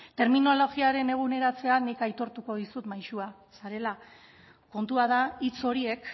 terminologia eguneratzean nik aitortuko dizut maisua zarela kontua da hitz horiek